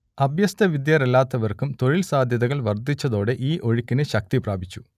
അഭ്യസ്തവിദ്യരല്ലാത്തവർക്കും തൊഴിൽ സാധ്യതകൾ വർദ്ധിച്ചതോടെ ഈ ഒഴുക്കിന് ശക്തി പ്രാപിച്ചു